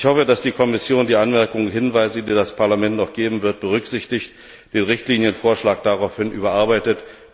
Ich hoffe, dass die Kommission die Anmerkungen und Hinweise, die das Parlament noch geben wird, berücksichtigt und den Richtlinienvorschlag daraufhin überarbeitet.